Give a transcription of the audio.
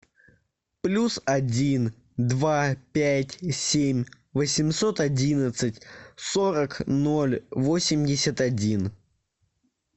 плюс один два пять семь восемьсот одиннадцать сорок ноль восемьдесят один